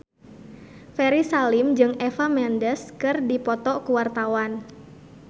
Ferry Salim jeung Eva Mendes keur dipoto ku wartawan